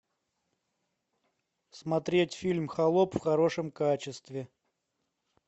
смотреть фильм холоп в хорошем качестве